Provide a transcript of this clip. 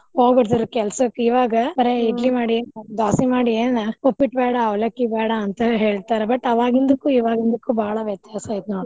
ಹೋಗ್ಬಿಡ್ತಿದ್ರ್ ಕೆಲ್ಸಕ್ಕ್ ಇವಾಗ ಬರೆ ಮಾಡಿಯೇನ್ ದ್ವಾಸಿ ಮಾಡೆಯೇನ ಉಪ್ಪಿಟ್ಟ್ ಬ್ಯಾಡಾ ಅವಲಕ್ಕಿ ಬ್ಯಾಡಾ ಅಂತ ಹೇಳ್ತಾರ but ಅವಾಗಿಂದುಕ್ಕು ಇವಾಗಿಂದುಕ್ಕು ಬಾಳ ವ್ಯತ್ಯಾಸ ಐತಿ ನೋಡ್.